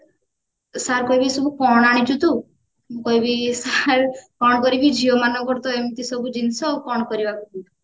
sir କହିବେ ଏସବୁ କଣ ଆଣିଛୁ ତୁ ମୁଁ କହିବି sir କଣ କରିବି ଝିଅମାନଙ୍କର ତ ଏମିତି ସବୁ ଜିନିଷ କଣ କରିବା କୁହନ୍ତୁ